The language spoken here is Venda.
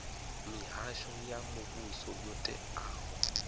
mihasho ya muvhuso yo teaho